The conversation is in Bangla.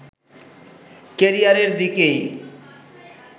ক্যারিয়ারের দিকেই